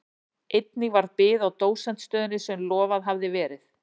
Einnig varð bið á dósentsstöðunni sem lofað hafði verið.